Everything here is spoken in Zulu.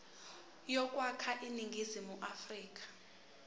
yokwakha iningizimu afrika